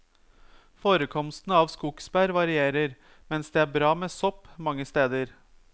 Forekomstene av skogsbær varierer, mens det er bra med sopp mange steder.